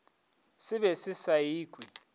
se be se sa ikwe